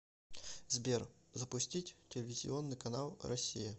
сбер запустить телевизионный канал россия